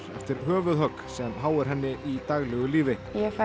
eftir höfuðhögg sem háir henni í daglegu lífi